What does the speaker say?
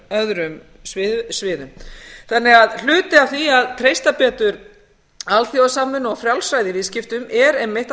öðrum sviðum hluti af því að treysta betur alþjóðasamvinnu og frjálsræði í viðskiptum er einmitt að